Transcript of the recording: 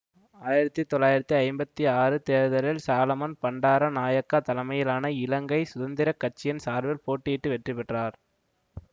ஆயிரத்தி தொளாயிரத்தி ஐம்பத்தி ஆறு தேர்தலில் சாலமன் பண்டாரநாயக்கா தலைமையிலான இலங்கை சுதந்திர கட்சியின் சார்பில் போட்டியிட்டு வெற்றி பெற்றார்